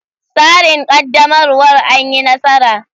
Tsarin ƙaddamarwar an yi nasara.